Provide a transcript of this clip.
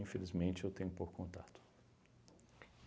Infelizmente, eu tenho pouco contato.